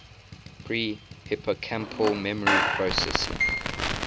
pre hippocampal memory processing